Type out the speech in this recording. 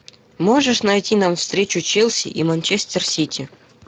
можешь найти нам встречу челси и манчестер сити